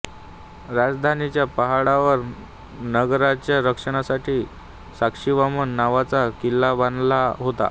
राजधानीच्या पहाडावर नगराच्या रक्षणासाठी साक्षीवामन नावाचा किला बांधला होता